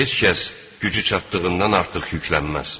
Heç kəs gücü çatdığından artıq yüklənməz.